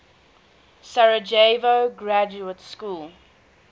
sarajevo graduate school